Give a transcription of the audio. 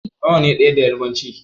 Nawa ne ɗaya da yarbanci?